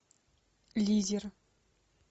лизер